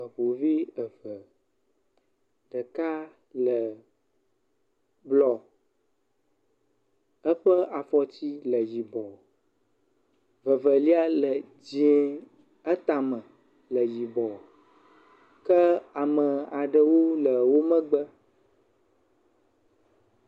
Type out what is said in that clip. Eŋuvi eve ɖeka le blɔ, eƒe afɔti le yibɔ, vevelia le dzɛ̃, etame le yibɔ, ke ame aɖewo le wo megbe.